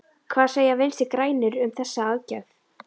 Hvað segja Vinstri-grænir um þessa aðgerð?